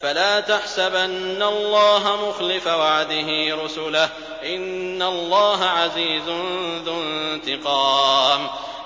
فَلَا تَحْسَبَنَّ اللَّهَ مُخْلِفَ وَعْدِهِ رُسُلَهُ ۗ إِنَّ اللَّهَ عَزِيزٌ ذُو انتِقَامٍ